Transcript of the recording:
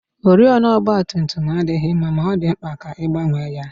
Oriọna ọgbatumtum adịghị mma ma ọ dị mkpa ka a gbanwee ya